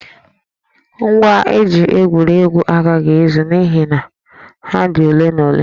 Ngwa eji egwuri egwu agaghị ezu n'ihi na ha dị ole na ole